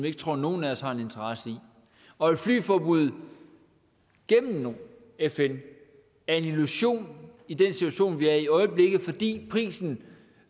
ikke tror nogen af os har en interesse i og et flyforbud gennem fn er en illusion i den situation vi er i i øjeblikket fordi prisen